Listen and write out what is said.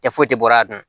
Kɛ foyi tɛ bɔra a dun